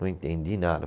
Não entendi nada.